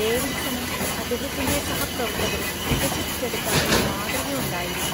ഡേവിഡ്‌സണും അദ്ദേഹത്തിന്റെ സഹപ്രവർത്തകരും വികസിപ്പിച്ചെടുത്ത ഒരു മാതൃക ഉണ്ടായിരുന്നു.